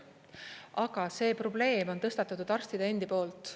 Aga see probleem on tõstatatud arstide endi poolt.